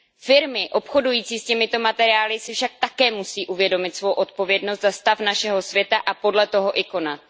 Firmy obchodující s těmito materiály si však také musí uvědomit svou odpovědnost za stav našeho světa a podle toho i konat.